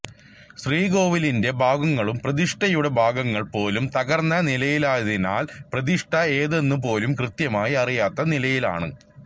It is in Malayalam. ശ്രീകോവിലിന്റെ ഭാഗങ്ങളും പ്രതിഷ്ഠയുടെ ഭാഗങ്ങൾ പോലും തകർന്ന നിലയിലായതിനാൽ പ്രതിഷ്ഠ ഏതെന്നു പോലും കൃത്യമായി അറിയാത്ത നിലയിലാണ്